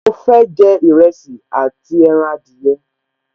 Mo fẹ́ jẹ Ìrẹsì àti ẹran adìyẹ